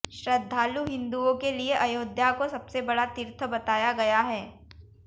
श्रद्धालु हिंदुओं के लिए अयोध्या को सबसे बड़ा तीर्थ बताया गया है